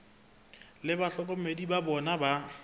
le bahlokomedi ba bona ba